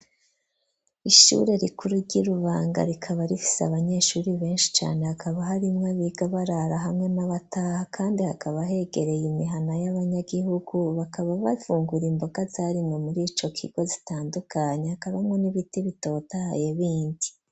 Ishure rikuru ry'i Rubanga rikaba rifise abanyeshure benshi cane hakaba harimwo abiga barara hamwe n'abataha, kandi hakaba hegereye imihana y'abanyagihugu bakaba bafungura imboga zarimwe muri ico kigo zitandukanya, hakabamwo n'ibiti bitotaye bindi.